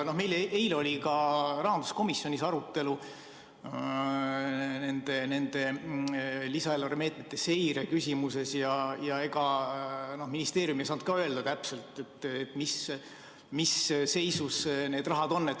Meil oli eile rahanduskomisjonis arutelu lisaeelarve meetmete seire küsimuses ja ega ministeerium ei osanud ka öelda, mis seisus täpselt need rahad on.